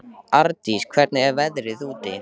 Ardís, hvernig er veðrið úti?